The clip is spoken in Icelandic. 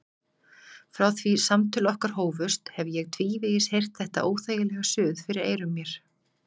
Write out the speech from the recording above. Frá því samtöl okkar hófust hef ég tvívegis heyrt þetta óþægilega suð fyrir eyrum mér.